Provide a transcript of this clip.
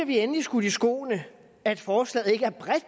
vi endelig skudt i skoene at forslaget ikke er bredt